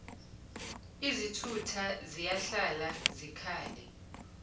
izithutha ziyahlala zikhale